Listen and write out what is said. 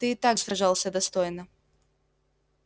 ты и так сражался достойно